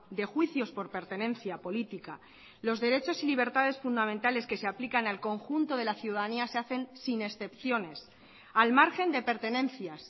de juicios por pertenencia política los derechos y libertades fundamentales que se aplican al conjunto de la ciudadanía se hacen sin excepciones al margen de pertenencias